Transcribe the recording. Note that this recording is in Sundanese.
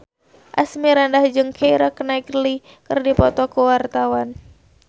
Asmirandah jeung Keira Knightley keur dipoto ku wartawan